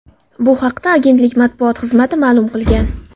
Bu haqda agentlik matbuot xizmati ma’lum qilgan .